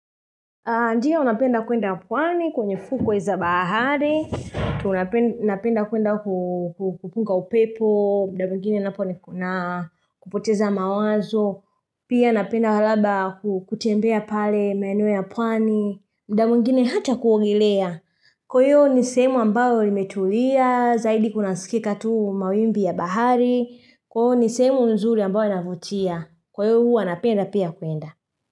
Ndio napenda kuenda pwani kwenye fukwe za bahari. Tunapend napenda kuenda ku kupunga upepo, mda mwingine napo nikuna kupoteza mawazo. Pia napenda halaba kutembea pale menu ya pwani. Mda mwingine hata kuogelea. Kwayo ni sehemu ambayo imetulia zaidi kunaskika tu mawimbi ya bahari. Kwao ni sehemu nzuri ambayo inavutia. Kwayo hua napenda pia kuenda.